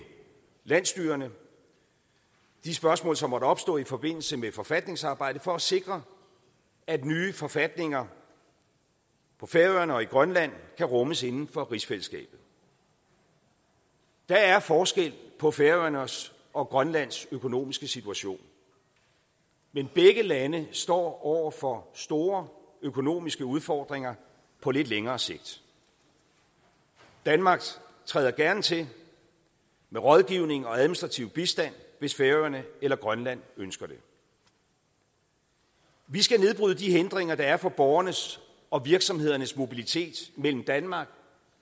landsstyrerne de spørgsmål som måtte opstå i forbindelse med forfatningsarbejdet for at sikre at nye forfatninger på færøerne og i grønland kan rummes inden for rigsfællesskabet der er forskel på færøernes og grønlands økonomiske situation men begge lande står over for store økonomiske udfordringer på lidt længere sigt danmark træder gerne til med rådgivning og administrativ bistand hvis færøerne eller grønland ønsker det vi skal nedbryde de hindringer der er for borgernes og virksomhedernes mobilitet mellem danmark